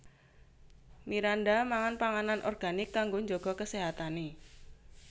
Miranda mangan panganan organik kanggo njaga keséhatane